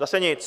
Zase nic!